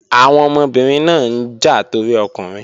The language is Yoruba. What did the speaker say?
Àwọn ọmọbìnrin náà ń jà torí ọkùnrin